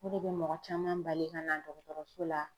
O de bɛ mɔgɔ caman bali ka na dɔgɔtɔrɔso la.